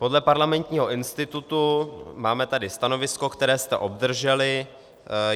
Podle Parlamentního institutu tady máme stanovisko, které jste obdrželi.